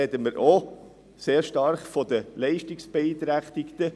Und da sprechen wir auch sehr stark von den Leistungsbeeinträchtigten.